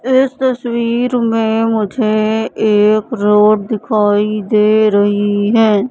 इस तस्वीर में मुझे एक रोड दिखाई दे रही हैं।